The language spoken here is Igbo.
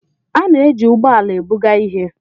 A na-eji ụgbọ ala ebuga ihe